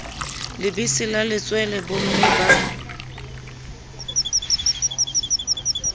lebese la letswele bomme ba